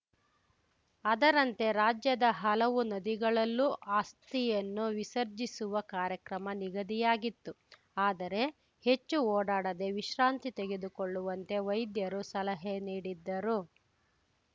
ಅದರಂತೆ ರಾಜ್ಯದ ಹಲವು ನದಿಗಳಲ್ಲೂ ಅಸ್ಥಿಯನ್ನು ವಿಸರ್ಜಿಸುವ ಕಾರ್ಯಕ್ರಮ ನಿಗದಿಯಾಗಿತ್ತು ಆದರೆ ಹೆಚ್ಚು ಓಡಾಡದೆ ವಿಶ್ರಾಂತಿ ತೆಗೆದುಕೊಳ್ಳುವಂತೆ ವೈದ್ಯರು ಸಲಹೆ ನೀಡಿದ್ದರು